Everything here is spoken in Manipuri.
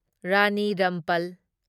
ꯔꯥꯅꯤ ꯔꯝꯄꯜ